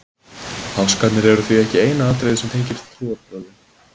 páskarnir eru því ekki eina atriðið sem tengir trúarbrögðin